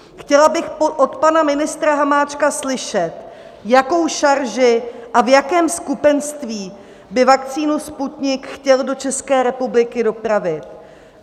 Chtěla bych od pana ministra Hamáčka slyšet, jakou šarži a v jakém skupenství by vakcínu Sputnik chtěl do České republiky dopravit.